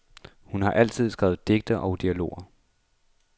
Hun har altid skrevet digte og dialoger.